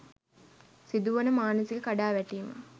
සිදුවන මානසික කඩාවැටීම